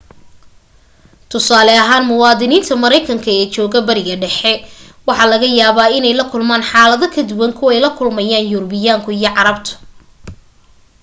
tusaale ahaan muwaadiniinta maraykanka ee jooga bariga dhexe waxa laga yaaba inay la kulmaan xaalado ka duwan kuway la kulmayaan yurubiyaanku iyo carabtu